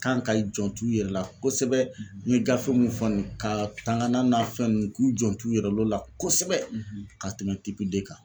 Kan ka i jant'u yɛrɛ la kosɛbɛ n ye gafe mun fɔ nin k'aa taŋanan n'a fɛn ninnu k'u jant'u yɛrɛ l'o la kosɛbɛ ka tɛmɛ kan.